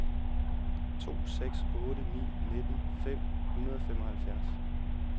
to seks otte ni nitten fem hundrede og femoghalvfjerds